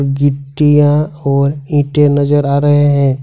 गिट्टिया और ईंटे नजर आ रहे हैं।